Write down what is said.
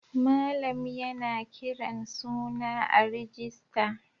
Malam yana kiran suna a rijista.